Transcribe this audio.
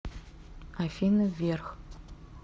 афина вверх